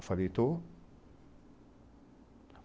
Eu falei, estou.